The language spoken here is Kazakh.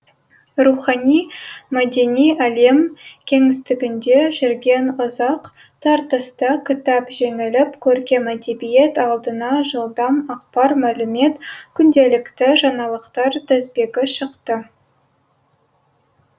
рухани мәдени әлем кеңістігінде жүрген ұзақ тартыста кітап жеңіліп көркем әдебиет алдына жылдам ақпар мәлімет күнделікті жаңалықтар тізбегі шықты